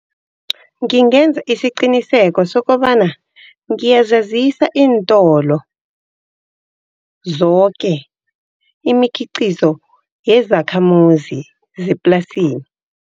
Ngingenza isiqiniseko sokobana ngiyazazisa iintolo zoke, imikhiqizo yezakhamuzi zeplasini.